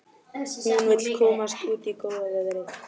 Hún vill komast út í góða veðrið.